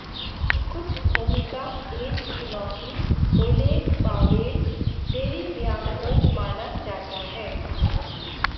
कुछ भूमिका एक चुनौती ओलेग पावेल डेरेवयांको माना जाता है